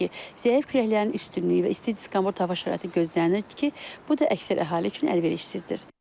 Belə ki, zəif küləklərin üstünlüyü və isti diskomfort hava şəraiti gözlənilir ki, bu da əksər əhali üçün əlverişsizdir.